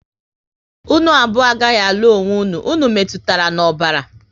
Unu abụọ agaghị alụ onwe unu, unu metụtara na ọbara